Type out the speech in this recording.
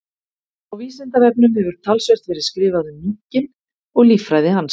Á Vísindavefnum hefur talsvert verið skrifað um minkinn og líffræði hans.